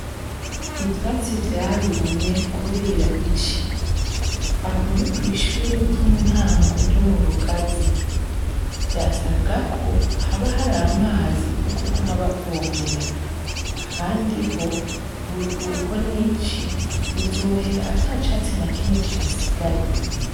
Ivyatsi vyarumye kubera ici. Aho ni kw'ishure ry'intango ryo mu rugazi. vyasabwa ko haba hari amazi yo kuguma babuvomera. Ahandi ho uruhuko n'ici bizohera atacatsi na kimwe kihasigaye.